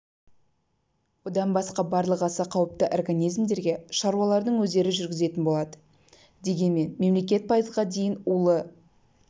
одан басқа барлық аса қауіпті организмдерге шаруалардың өздері жүргізетін болады дегенмен мемлекет пайызға дейін улы